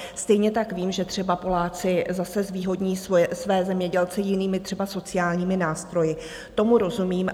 Stejně tak vím, že třeba Poláci zase zvýhodní své zemědělce jinými, třeba sociálními nástroji, tomu rozumím.